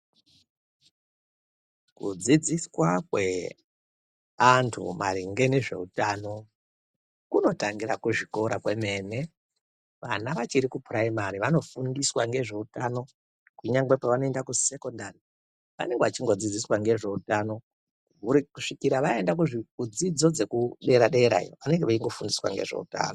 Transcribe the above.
Kudzidziswa kweantu maringe nezveutano kunotangire kuzvikora kwemene vana vachiri kupuraimari vanofundiswa ngezveutano kunyangwe pavanoenda kusekondari vanenge vachingofundiswa ngezveutano kusvikira vaenda kudzidzo dzekudera dera iyo vanenge veingofundiswa ngezveutano.